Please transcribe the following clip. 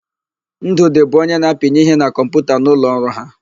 Ndụdị bụ onye na-apinye ihe na kọmputa n'ụlọ ọrụ ha.